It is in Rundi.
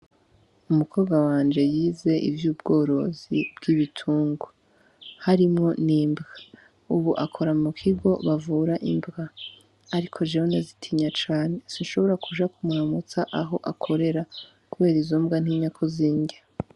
Umukobwa wanje yize ivy'ubworozi bw'ibitungwa, harimwo n'imbwa uwo ubu akora mu kigo bavura imbwa ariko jewe ndazitinya cane sinshobora kuja kumuramutsa aho akorera kubera izo mbwa ntinya ko zindya.